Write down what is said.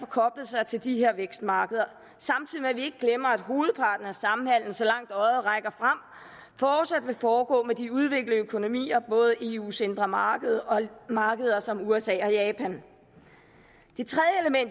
koblet sig til de her vækstmarkeder samtidig med at vi ikke glemmer at hovedparten af samhandel så langt øjet rækker frem fortsat vil foregå med de udviklede økonomier både eus indre marked og markeder som usa og japan